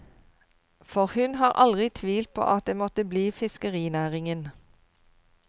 For hun har aldri tvilt på at det måtte bli fiskerinæringen.